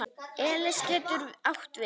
Elis getur átt við